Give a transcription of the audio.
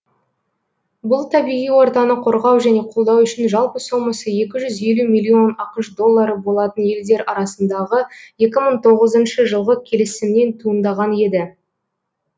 бұл табиғи ортаны қорғау және қолдау үшін жалпы сомасы екі жүз елу миллион ақш доллары болатын елдер арасындағы екі мың тоғызыншы жылғы келісімнен туындаған еді